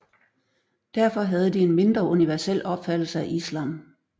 Derfor havde de en mindre universel opfattelse af islam